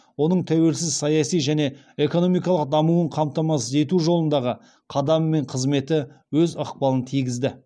оның тәуелсіз саяси және экономикалық дамуын қамтамасыз ету жолындағы қадамы мен қызметі өз ықпалын тигізді